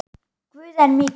Guð er mikill.